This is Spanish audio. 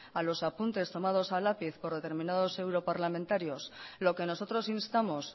a los apuntes tomados a lápiz por determinados europarlamentarios lo que nosotros instamos